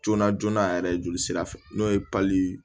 Joona joona a yɛrɛ joli sira fɛ n'o ye